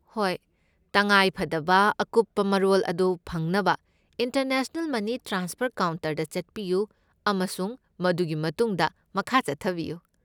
ꯍꯣꯏ, ꯇꯉꯥꯏꯐꯗꯕ ꯑꯀꯨꯞꯄ ꯃꯔꯣꯜ ꯑꯗꯨ ꯐꯪꯅꯕ ꯏꯟꯇꯔꯅꯦꯁꯅꯦꯜ ꯃꯅꯤ ꯇ꯭ꯔꯥꯟꯁꯐꯔ ꯀꯥꯎꯟꯇꯔꯗ ꯆꯠꯄꯤꯌꯨ ꯑꯃꯁꯨꯡ ꯃꯗꯨꯒꯤ ꯃꯇꯨꯡꯗ ꯃꯈꯥ ꯆꯠꯊꯕꯤꯌꯨ꯫